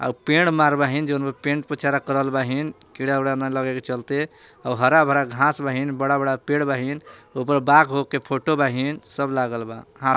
पेड़ मार बहिं जवन बा पेंट पोचाड़ा करल बहिं कीड़ा उड़ा न लगेक चलते हरा भरा घास बहिं बड़ा बड़ा पेड़ बहिं ऊपर बाघ उघ के फोटो बहिं सब लागल बा।